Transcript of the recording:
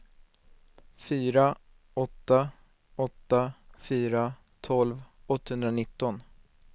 fyra åtta åtta fyra tolv åttahundranitton